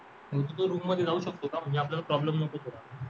तू तुझ्या रूममध्ये जाऊ शकतो का म्हणजे आपल्याला प्रॉब्लेम नको